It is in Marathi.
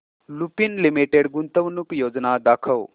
लुपिन लिमिटेड गुंतवणूक योजना दाखव